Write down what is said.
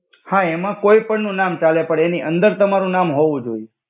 હા એમા કોઇ પણ નુ નામ ચાલે પણ એનિ અંદર તમારુ નામ હોવુ જોઇ.